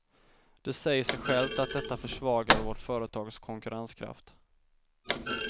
Det säger sig självt att detta försvagar vårt företags konkurrenskraft.